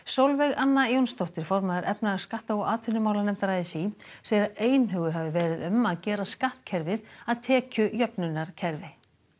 sólveg Anna Jónsdóttir formaður efnahags skatta og atvinnumálanefndar a s í segir að einhugur hafi verið um að gera skattkerfið að tekjujöfnunarkerfi